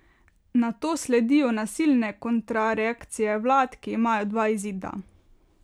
Nato sledijo nasilne kontrareakcije vlad, ki imajo dva izida.